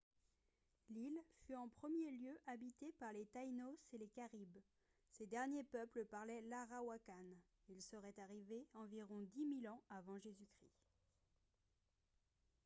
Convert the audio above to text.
l’île fut en premier lieu habitée par les taínos et les caribes. ces dernier peuple parlait l'arawakan ; il serait arrivé environ dix mille ans av. j.-c